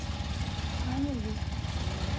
аньлу